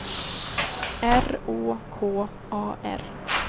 R Å K A R